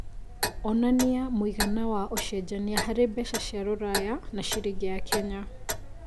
onanĩa mũigana wa ũcenjanĩa harĩ mbeca cĩa rũraya na ciringi ya Kenya